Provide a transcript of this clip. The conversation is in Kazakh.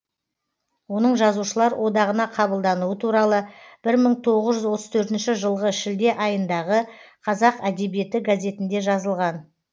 оның жазушылар одағына қабылдануы туралы бір мың тоғыз жүз отыз төртінші жылғы шілде айындағы қазақ әдебиеті газетінде жазылған